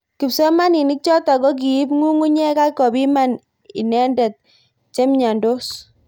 Kipsomanink chotok kokiib ngngunyek ak kopiman inendet chemnyendos.